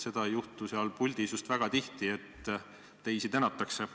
Seda ei juhtu seal puldis just väga tihti, et teisi tänatakse.